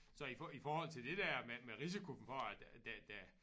Så i i forhold til det der med med risiko for at det det